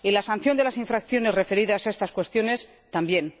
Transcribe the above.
Y la sanción de las infracciones referidas a estas cuestiones, también.